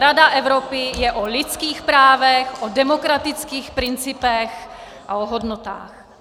Rada Evropy je o lidských právech, o demokratických principech a o hodnotách.